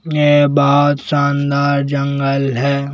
ये बाहोत शानदार जंगल है।